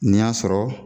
N'i y'a sɔrɔ